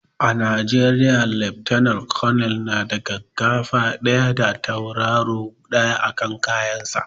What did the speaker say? A najeriya lieutenant colonel na da gaggafa ɗaya da tauraro ɗaya a kan kayan sa